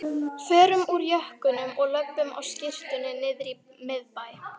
Förum úr jökkunum og löbbum á skyrtunni niðrí miðbæ!